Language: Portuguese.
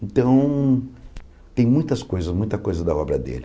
Então, tem muitas coisas, muita coisa da obra dele.